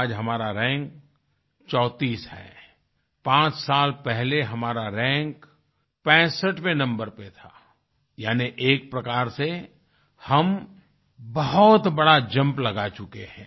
आज हमारा रैंक चौतीस है और पांच साल पहले हमारा रैंक 65वें नंबर पे था यानि एक प्रकार से हम बहुत बड़ा जंप लगा चुके हैं